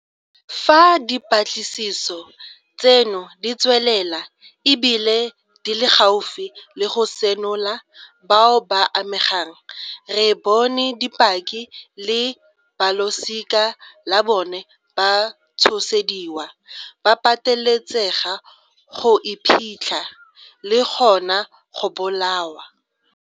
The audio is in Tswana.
Fa dipatlisiso tseno di tswelela e bile di le gaufi le go senola bao ba amegang, re bone dipaki le balosika la bona ba tshosediwa, ba pateletsega go iphitlha, le gona go bolawa.